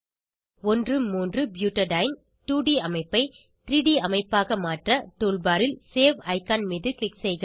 13 butadiene 2ட் அமைப்பை 3ட் அமைப்பாக மாற்ற டூல் பார் ல் சேவ் ஐகான் மீது க்ளிக் செய்க